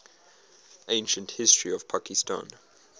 ancient history of pakistan